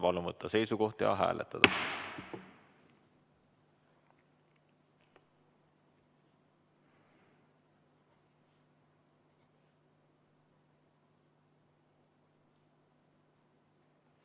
Palun võtta seisukoht ja hääletada!